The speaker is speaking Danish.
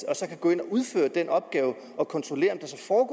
og så kan gå ind og udføre den opgave at kontrollere